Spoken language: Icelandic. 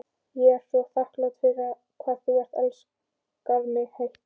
Ég er svo þakklát fyrir hvað þú elskar mig heitt.